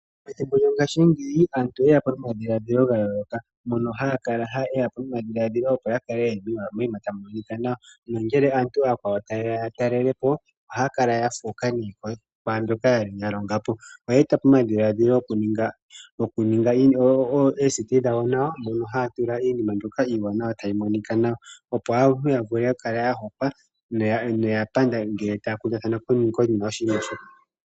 Ngaashi ngeyi aantu oye ya po nomadhilaadhilo omawanawa. Oya totopo oradio yo muzizimba hoka ha ku taliwa iinima iiwanawa hayi yolitha aantu.